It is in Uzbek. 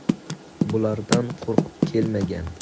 Bulardan qo‘rqib kelmagan.